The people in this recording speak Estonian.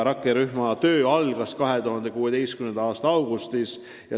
Rakkerühma töö algas 2016. aasta augustis.